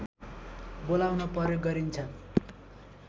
बोलाउन प्रयोग गरिन्छ